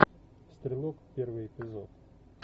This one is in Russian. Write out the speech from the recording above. стрелок первый эпизод